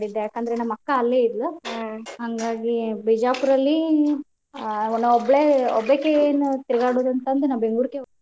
ಯಾಕಂದ್ರೆ ನಮ್ಮ್ ಅಕ್ಕ ಅಲ್ಲೇ ಇದ್ಲ ಹಾಂಗಾಗಿ ಬಿಜಾಪುರಲ್ಲಿ ನಾ ಒಬ್ಳೆ ಒಬ್ಬಾಕೆ ಏನ್ ತಿರ್ಗ್ಯಾಡುದ್ ಅಂತಂದ್ ನಾ ಬೆಂಗ್ಳುರಗೆ ಹೋಗಿದ್ದೆ.